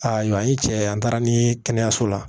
Ayiwa an ye cɛ ye an taara ni kɛnɛyaso la